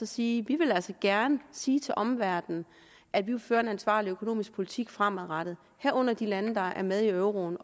sige vi vil altså gerne sige til omverdenen at vi vil føre en ansvarlig økonomisk politik fremadrettet herunder hører de lande der er med i euroen